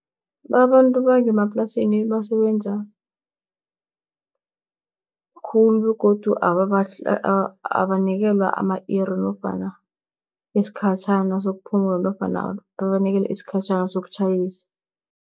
Babantu bangemaplasini basebenza khulu begodu abanikelwa ama-iri nofana isikhatjhana sokuphumula, nofana babanikele isikhatjhana sokutjhayisa.